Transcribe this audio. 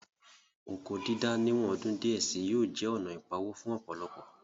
Oko dídá ní ìwọ̀n ọdún díẹ̀ sí yóò jẹ́ ònà ìpawó fún ọ̀pọ̀lọpọ̀